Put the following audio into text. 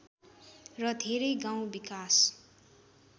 र धेरै गाउँ विकास